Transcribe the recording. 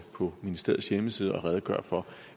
på ministeriets hjemmeside og redegøre for